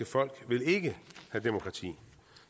folk vil ikke have demokrati